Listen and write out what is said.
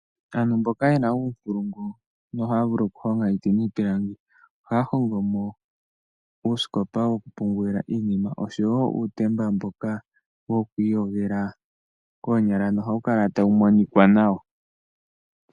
Aantu mboka ye na uunkulungu nohaya vulu okuhonga iiti niipilangi ohaya hongo mo uusikopa wokupungula iinima oshowo uutemba mboka wo kwiiyogela koonyala nohawu kala tawu monika nawa.